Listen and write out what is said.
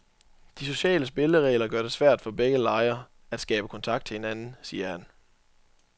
De sociale spilleregler gør det svært for begge lejre at skabe kontakt til hinanden, siger han.